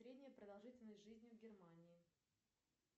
средняя продолжительность жизни в германии